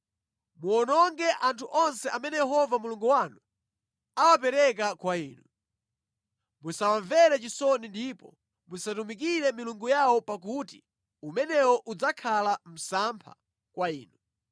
Muwononge anthu onse amene Yehova Mulungu wanu awapereka kwa inu. Musawamvere chisoni ndipo musatumikire milungu yawo pakuti umenewo udzakhala msampha kwa inu.